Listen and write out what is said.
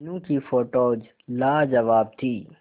मीनू की फोटोज लाजवाब थी